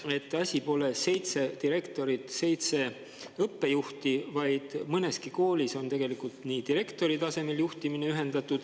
… et asi pole nii, et on seitse direktorit, seitse õppejuhti, vaid mõneski koolis on tegelikult direktori tasemel juhtimine ühendatud …